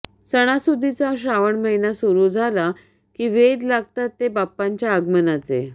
सणासुदीचा श्रावण महिना सुरू झाला की वेध लागतात ते बाप्पांच्या आगमनाचे